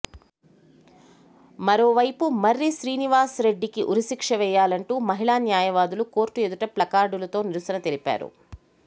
మరోవైపు మర్రి శ్రీనివాస్రెడ్డికి ఉరి శిక్ష వేయాలంటూ మహిళా న్యాయవాదులు కోర్టు ఎదుట ప్లకార్డులతో నిరసన తెలిపారు